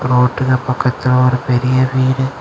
ரோட்டுல பக்கத்துல ஒரு பெரிய வீடு.